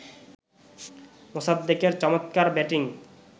মোসাদ্দেকের চমৎকার ব্যাটিং